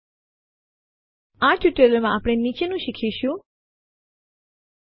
ફાઈલો અને ડિરેક્ટરીઓ સાથે મળી લિનક્સ ફાઈલ સિસ્ટમ બનાવે છે